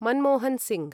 Manmohan Singh